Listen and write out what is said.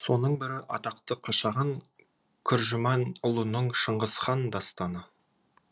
соның бірі атақты қашаған күржіманұлының шыңғыс хан дастаны